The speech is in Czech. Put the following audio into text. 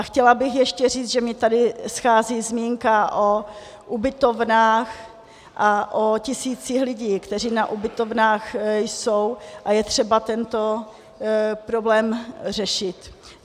A chtěla bych ještě říct, že mně tady schází zmínka o ubytovnách a o tisících lidí, kteří na ubytovnách jsou, a je třeba tento problém řešit.